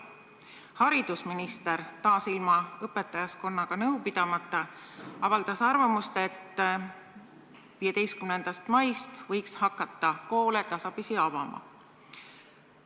Haridusminister avaldas arvamust – taas ilma õpetajaskonnaga nõu pidamata –, et 15. maist võiks hakata tasapisi koole avama.